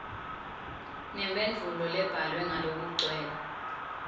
nemphendvulo lebhalwe ngalokugcwele